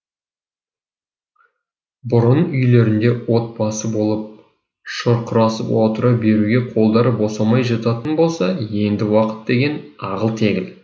бұрын үйлерінде отбасы болып шұрқырасып отыра беруге қолдары босамай жататын болса енді уақыт деген ағыл тегіл